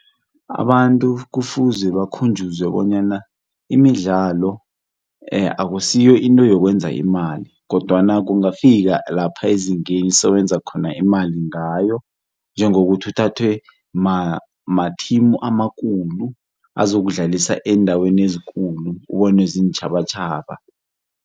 Abantu kufuze bakhunjuzwe bonyana imidlalo akusiyo into yokwenza imali kodwana kungakafika lapha ezingeni sowenza khona imali ngayo, njengokuthi uthathwe mathimu amakhulu azokudlalisa eendaweni ezikulu ubonwe ziintjhabatjhaba.